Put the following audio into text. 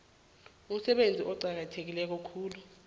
umsebenzi oqakatheke khulu